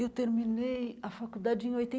Eu terminei a faculdade em